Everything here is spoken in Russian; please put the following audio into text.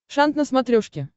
шант на смотрешке